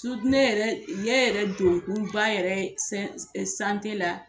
ne yɛrɛ ne yɛrɛ don kun ba yɛrɛ ye la